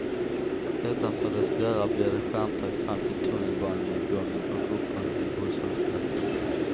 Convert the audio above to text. Utanför dess dörrar blir det skärmtak fram till tunnelbanenedgången och uppgången till busshållplatserna.